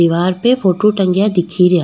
दिवार पे फोटो टंगिया दिखेरा।